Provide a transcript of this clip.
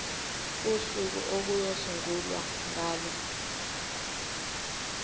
usuku okuyosungulwa ngalo